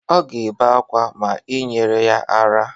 Ọ ga-ebe ákwá ma i nyeghi ya ara.